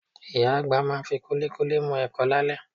Ìyá àgbà máa fi kúlíkúlí mu ẹ̀kọ lálẹ́